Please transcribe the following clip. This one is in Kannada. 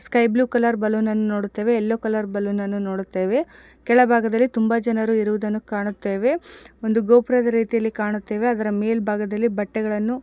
ಸ್ಕೈ ಬ್ಲೂ ಕಲರ್ ಬಲೂನ್ ಅನ್ನು ನೋಡುತ್ತೇವೆ ಯಲ್ಲೋ ಕಲರ್ ಬಲೂನ್ ಅನ್ನು ನೋಡುತ್ತೇವೆ ಕೆಳಭಾಗದಲ್ಲಿ ತುಂಬಾ ಜನರು ಇರುವುದನ್ನು ಕಾಣುತ್ತೇವೆ ಒಂದು ಗೋಪುರದ ರೀತಿಯಲ್ಲಿ ಕಾಣುತ್ತೇವೆ ಅದರ ಮೇಲ್ಭಾಗದಲ್ಲಿ ಬಟ್ಟೆಗಳನ್ನು --